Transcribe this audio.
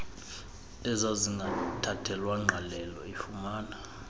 ezazingathathelwa ngqalelo ifumana